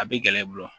A bɛ gɛlɛya i bolo